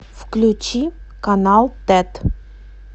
включи канал тэт